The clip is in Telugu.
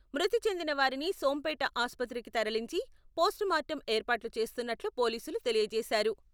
మృతి చెందిన వారిని సోంపేట ఆసుపత్రికి తరలించి, పోస్ట్ మార్టం ఏర్పాట్లు చేస్తున్నట్లు పోలీసులు తెలియచేశారు.